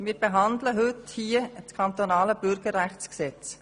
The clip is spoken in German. Wir behandeln heute das Kantonale Bürgerrechtsgesetz.